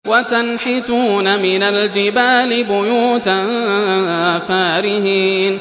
وَتَنْحِتُونَ مِنَ الْجِبَالِ بُيُوتًا فَارِهِينَ